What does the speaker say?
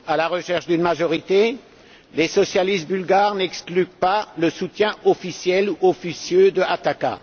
À la recherche d'une majorité, les socialistes bulgares n'excluent pas le soutien officiel ou officieux d'Ataka.